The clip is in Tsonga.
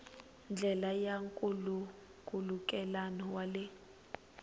ndlela ya nkhulukelano wa le